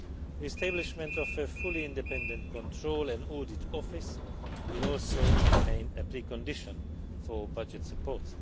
The establishment of a fully independent control and audit office will also remain a precondition for budget support.